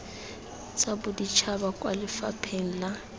tsa boditšhaba kwa lefapheng la